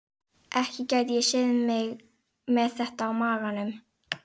Ekki gæti ég séð mig með þetta á maganum.